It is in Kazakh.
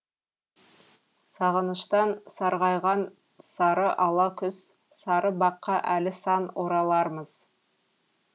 сағыныштан сарғайған сары ала күз сары баққа әлі сан оралармыз